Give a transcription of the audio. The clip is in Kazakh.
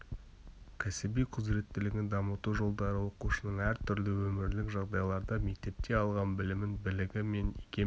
кәсіби құзыреттілігін дамыту жолдары оқушының әр түрлі өмірлік жағдайларда мектепте алған білімін білігі мен икем